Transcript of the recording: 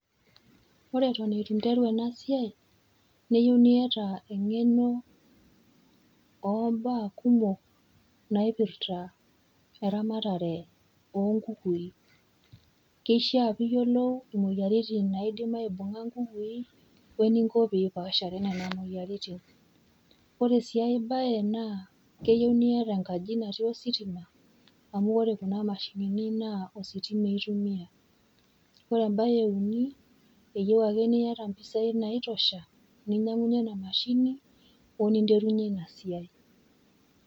Ore eton interu ena siai neyu niata eng'eno oombaa kumok naipirta eramatare  oonkukui. Keishaa piiyolou imoyaritin naidim aibung'a nkukui oeninko piipashare nena moyaritin. Ore sii ai baye naa, keyou niata enkaji natii ositima amu ore kuna  mashinini naa ositima eitumia. Ore embae euni, eyou ake niata mpisai naitosha ninyang'unye ena mashini o ninterunye ina siai.